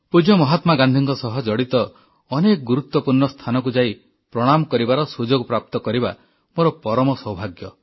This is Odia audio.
ପୂଜ୍ୟ ମହାତ୍ମା ଗାନ୍ଧୀଙ୍କ ସହ ଜଡ଼ିତ ଅନେକ ଗୁରୁତ୍ୱପୂର୍ଣ୍ଣ ସ୍ଥାନକୁ ଯାଇ ପ୍ରଣାମ କରିବାର ସୁଯୋଗ ପ୍ରାପ୍ତ କରିବା ମୋର ପରମ ସୌଭାଗ୍ୟ